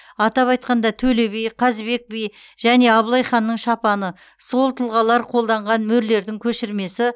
атап айтқанда төле би қазыбек би және абылай ханның шапаны сол тұлғалар қолданған мөрлердің көшірмесі